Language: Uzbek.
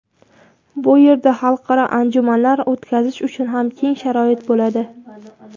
Bu yerda xalqaro anjumanlar o‘tkazish uchun ham keng sharoit bo‘ladi.